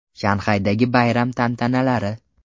Shanxaydagi bayram tantanalari.